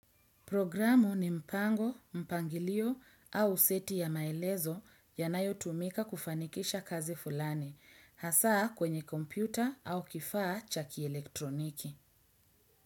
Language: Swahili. Programu ni mpango, mpangilio au seti ya maelezo yanayo tumika kufanikisha kazi fulani, hasa kwenye kompyuta au kifaa cha kielektroniki.